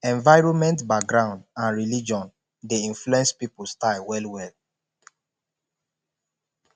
environment background and religion de influence pipo style well well